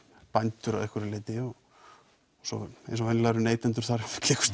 bændur að einhverju leyti og eins og venjulega eru neytendur þar